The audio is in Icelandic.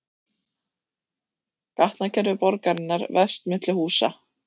Gatnakerfi borgarinnar vefst milli húsa